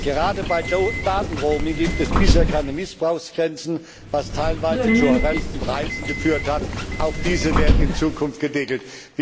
Gerade bei Daten Roaming gibt es bisher keine Mißbrauchsgrenzen, was teilweise zu horrenden Preisen geführt hat. Auch diese werden in Zukunft gedeckelt.